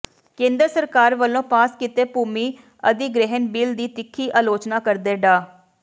ਕੇਂਦਰ ਸਰਕਾਰ ਵੱਲੋਂ ਪਾਸ ਕੀਤੇ ਭੂਮੀ ਅਧਿਗ੍ਰਹਿਣ ਬਿੱਲ ਦੀ ਤਿੱਖੀ ਅਲੋਚਨਾ ਕਰਦੇ ਡਾ